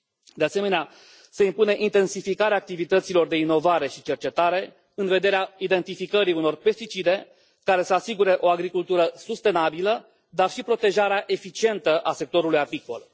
De asemenea, se impune intensificarea activităților de inovare și cercetare în vederea identificării unor pesticide care să asigure o agricultură sustenabilă, dar și protejarea eficientă a sectorului apicol.